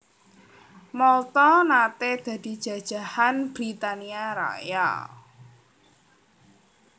Malta naté dadi jajahan Britania Raya